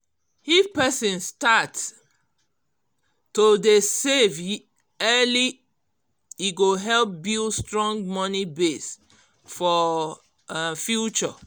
if person start to dey save early e go help build strong money base for um future